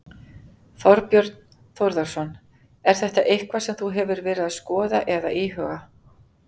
Þorbjörn Þórðarson: Er þetta eitthvað sem þú hefur verið að skoða eða íhuga?